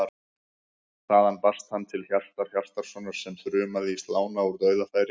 Þaðan barst hann til Hjartar Hjartarsonar sem þrumaði í slána úr dauðafæri.